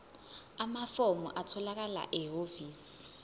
amafomu atholakala ehhovisi